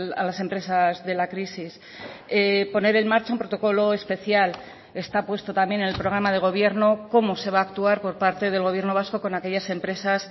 a las empresas de la crisis poner en marcha un protocolo especial está puesto también en el programa de gobierno cómo se va a actuar por parte del gobierno vasco con aquellas empresas